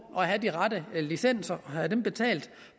at have de rette licenser og have dem betalt